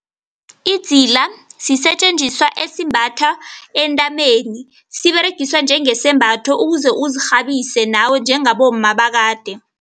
Idzila sisetjenziswa esimbathwa entameni. Siberegiswa njengesembatho ukuze ukuzirhabise nawe njengabomma bakade.